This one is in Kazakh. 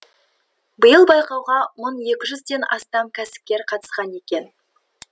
биыл байқауға мың екі жүзден астам кәсіпкер қатысқан екен